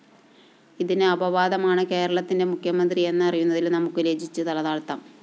ഇതിന് അപവാദമാണ് കേരളത്തിന്റെ മുഖ്യമന്ത്രി എന്നറിയുന്നതില്‍ നമുക്ക് ലജ്ജിച്ച് തലതാഴ്ത്താം